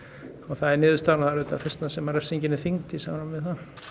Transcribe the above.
það er niðurstaðan og það er þess vegna sem refsingin er þyngd í samræmi við